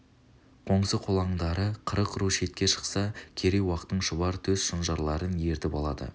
қоңсы-қолаңдары қырық ру шетке шықса керей-уақтың шұбар төс шонжарларын ертіп алады